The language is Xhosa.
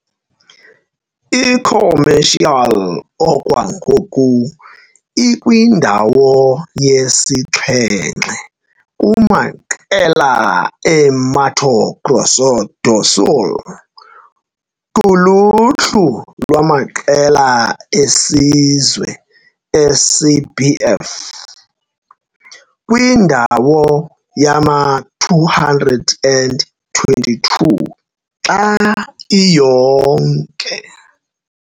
I-Comercial okwangoku ikwindawo yesixhenxe kumaqela e-Mato Grosso do Sul kuluhlu lwamaqela esizwe e-CBF, kwindawo yama-222 xa iyonke.